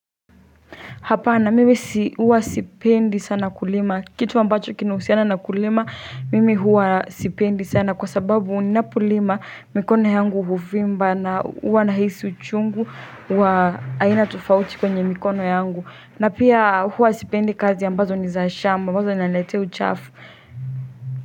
Hapana mimi si huwa sipendi sana kulima kitu ambacho kinuhusiana na kulima mimi huwa sipendi sana kwa sababu ninapolima mikono yangu huvimba na huwa nahisi uchungu wa aina tofauti kwenye mikono yangu na pia huwa sipendi kazi ambazo ni za shamba ambazo zinaniletea uchafu.